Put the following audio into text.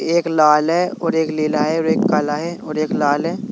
एक लाल है और एक लीला है और एक काला है और एक लाल है।